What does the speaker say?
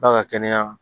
Ba ka kɛnɛya